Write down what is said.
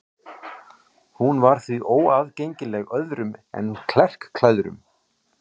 Hún var því óaðgengileg öðrum en klerklærðum.